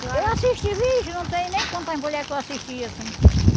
Eu assisti vixe, não sei nem quantas mulheres que eu assisti assim.